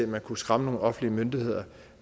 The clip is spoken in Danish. man kunne skræmme nogle offentlige myndigheder